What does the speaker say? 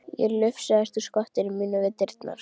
Ég lufsaðist úr skotinu mínu við dyrnar.